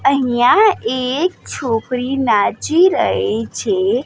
અહીંયા એક છોકરી નાચી રઈ છે.